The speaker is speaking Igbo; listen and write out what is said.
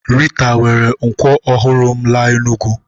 Rita were nkwọ ọhụrụ m laa Enugwu